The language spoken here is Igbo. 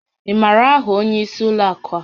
Ị maara áhà onyé ísí ụlọ àkú ha?